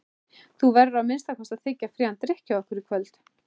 Þú verður að minnsta kosti að þiggja frían drykk hjá okkur í kvöld.